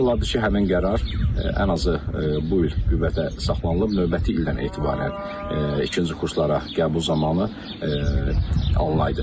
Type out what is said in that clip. Yaxşı olardı ki, həmin qərar ən azı bu il qüvvətə saxlanılıb növbəti ildən etibarən ikinci kurslara qəbul zamanı alınaydı.